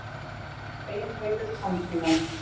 Ein heitir Tannpínan.